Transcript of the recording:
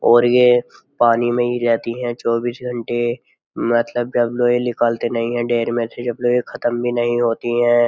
और ये पानी में ही रहती हैं चौबीस घंटे मतलब जब लोए निकलते नहीं है डेर में से जब लोए खत्म भी नहीं होती है।